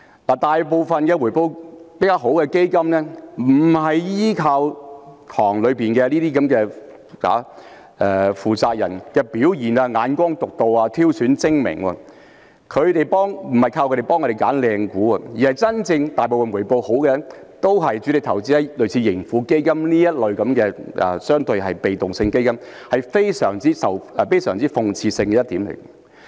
大部分回報較好的基金不是依靠池塘裏基金管理人的表現、眼光獨到或挑選精明，不是靠他們幫我們選擇好的股份，大部分回報好的都是主力投資在類似盈富基金這類被動式指數基金，這是非常諷刺的一點。